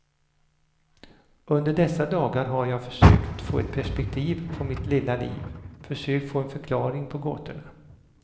Under dessa dagar har jag försökt få ett perspektiv på mitt lilla liv, försökt få en förklaring på gåtorna.